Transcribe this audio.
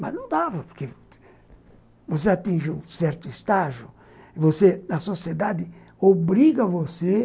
Mas não dava, porque... Você atinge um certo estágio, e você, a sociedade obriga você